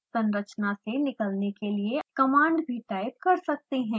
हम संरचना को निकालने के लिए command भी टाइप कर सकते हैं